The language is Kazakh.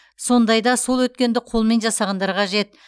сондайда сол өткенді қолмен жасағандар қажет